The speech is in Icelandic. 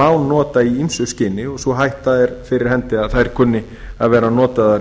má nota í ýmsu skyni og sú hætta er fyrir hendi að þær kunni að verða notaðar